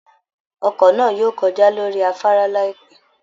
Ọkọ̀ ńáà yóò kọjá lórí afárá láìpẹ́